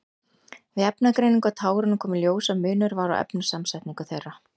Við efnagreiningu á tárunum kom í ljós að munur var á efnasamsetningu þeirra.